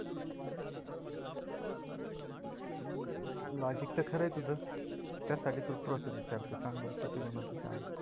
अं Logic तर खर आहे तुझ त्यासाठी तुला Process विचारते सांग बरं कशी बनवते चहा?